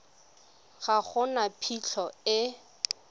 ga go na phitlho e